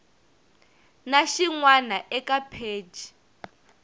na xin wana eka pheji